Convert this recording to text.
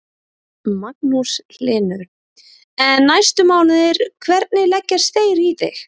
Magnús Hlynur: En næstu mánuðir, hvernig leggjast þeir í þig?